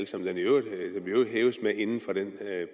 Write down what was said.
som den i øvrigt hæves med inden for den